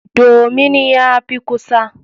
Domin ya fi kusa.